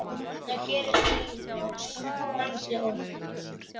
Það gerist víst ansi oft.